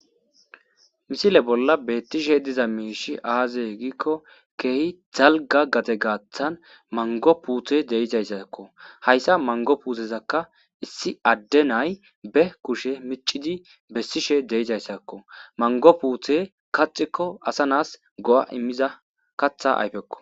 misile bolla beettishe diza miishi aaze giikko keehi dalga gade gaaththan mango puute de'izayssakko hayssa mango puutezakka issi adde nay be kushe micidi bessishe de'izayssakko mango puute kaxikko asa naas go'a immiza katha ayfekko